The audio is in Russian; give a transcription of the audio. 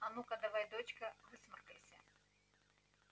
а ну-ка давай дочка высморкайся